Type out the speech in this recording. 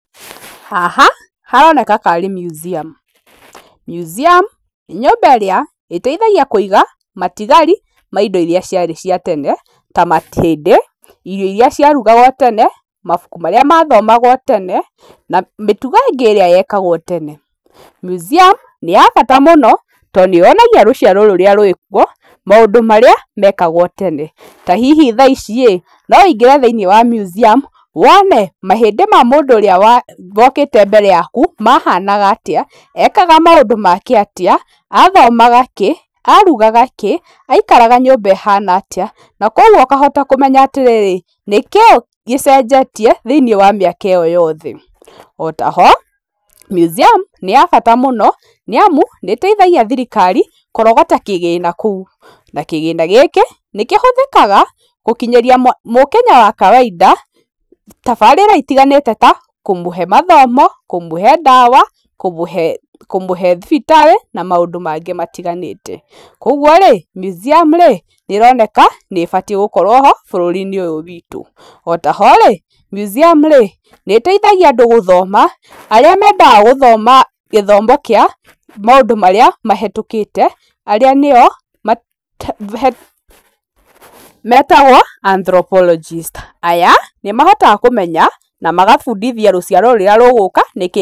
Haha haroneka karĩ museum . museum nĩ nyũmba ĩrĩa iteithagia kũiga matigari ma indo iria ciarĩ cia tene ta mahĩndĩ, irio iria ciarugagwo tene , mabuku marĩa mathomagwo tene na mĩtugo ĩngĩ yekagwo tene. museum nĩ ya bata mũno to nĩyonagia rũciaro rũrĩa rwĩ kũo maũndũ marĩa mekagwo tene ta hihi thaici-ĩĩ no wĩingĩre thĩĩnĩe wa museum wone mahĩndĩ ma mũndũ ũrĩa wokĩte mbere yaku mahanaga atĩa, ekaga maũndũ make atĩa, athomaga kĩĩ, arugaga kĩĩ , aikaraga nyũmba ĩhana atĩa na kwa ũguo ũkahota kũmenya atĩ rĩrĩ nĩ kĩĩ gĩcenjetie thĩĩnĩe wa mĩaka ĩyo yothe, ota ho museum nĩ ya bata mũno niamu nĩ ĩteithagia thirikari kũrogota kĩgĩna kũũ na kĩgĩna gĩkĩ nĩkĩhũthĩkaga gũkinyĩria mũkenya wa kawaida tabarira itiganĩte ta kũmũhe mathomo, kũmũhe ndawa, kũmũhe thibitarĩ na maũndũ mangĩ matiganĩte kwa ũguo-rĩ museum rĩ nĩ ironeka nĩĩbatĩe gũkorwo ho bũrũri-inĩ ũyũ witũ. Otaho-rĩ museum rĩ nĩ ĩteithagia andũ gũthoma arĩa mendaga gũthoma gĩthomo kĩa maũndũ marĩa mahetũkĩte arĩa nĩo metagwo anthrolopologist aya nĩmahotaga kũmenya na magabuundithia rũciaro rũrĩa rũgũka nĩkĩĩ.